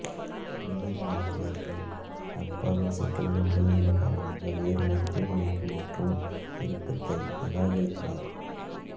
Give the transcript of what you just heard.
உள்ளூர் மருத்துவர்கள் அர்பாவின் சிக்கலான உடல் நிலை காரணமாக வேறு மருத்துவமனைக்கு மாற்றும் விருப்பத்தை நிராகரித்தனர்